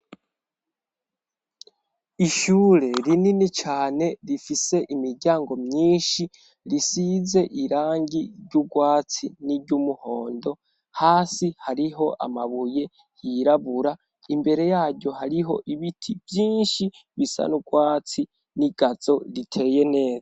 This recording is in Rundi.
Ishure rinini cane rifise imiryango myinshi risize irangi ry'ugwatsi n'iry'umuhondo hasi hariho amabuye hirabura imbere yaryo hariho ibiti byinshi bisa n'ubwatsi n'igatzo riteye neza.